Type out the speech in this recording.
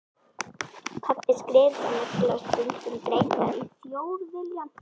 Pabbi skrifaði nefnilega stundum greinar í Þjóðviljann.